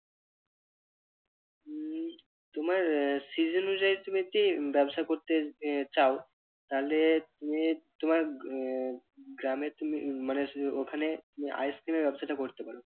হুম তোমার আহ season অনুযায়ী তুমি ব্যবসা করতে আহ চাও তাহলে তুমি তোমার আহ গ্রামে তুমি মানে ওখানে ice cream এর ব্যবসাটা করতে পারো।